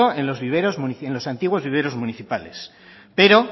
en los antiguos viveros municipales pero